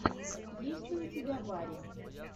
есть ли у тебя барри